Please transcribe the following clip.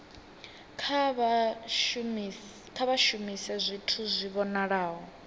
kha vha shumise zwithu zwi vhonalaho